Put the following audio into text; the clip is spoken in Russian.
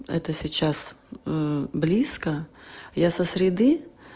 это сейчас близко я со среды